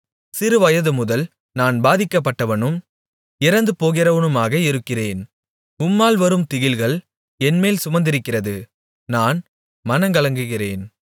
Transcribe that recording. சிறுவயதுமுதல் நான் பாதிக்கப்பட்டவனும் இறந்துபோகிறவனுமாக இருக்கிறேன் உம்மால் வரும் திகில்கள் என்மேல் சுமந்திருக்கிறது நான் மனங்கலங்குகிறேன்